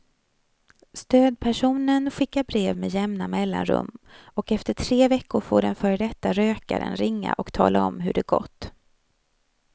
Stödpersonen skickar brev med jämna mellanrum och efter tre veckor får den före detta rökaren ringa och tala om hur det gått.